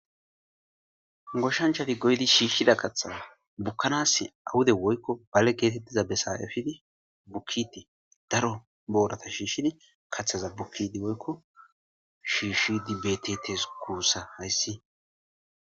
Goshanchati goydi shiishshida kaththaza bukkanas awude woykko bale geetettiza besayafidi bukkiti daro boorata shiishshin kathaza bukkidi woykko shiishidi betetes kuussa hayssi.